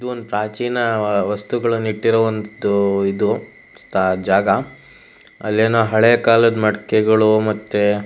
ಇದು ಒಂದು ಪ್ರಾಚೀನ ವಸ್ತುಗಳನ್ನ ಇಟ್ಟಿರೋ ಒಂದ್ ಇದು ಜಾಗ ಅಲ್ಲೇನೋ ಕಾಲದ ಮಡಿಕೆಗಳು ಮತ್ತೆ--